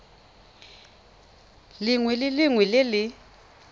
lengwe le lengwe le le